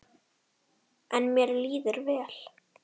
En mér líður vel.